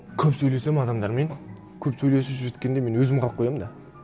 көп сөйлесемін адамдармен көп сөйлесіп сөйткенде мен өзім қалып қоямын да